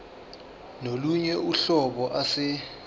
kolunye uhlobo ase